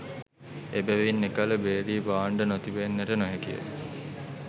එබැවින් එකල භේරී භාණ්ඩ නොතිබෙන්නට නොහැකිය